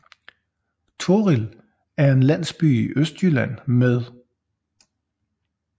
Torrild er en landsby i Østjylland med